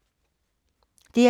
DR2